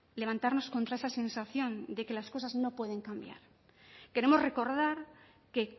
levantarnos contra esa sensación de que las cosas no pueden cambiar queremos recordar que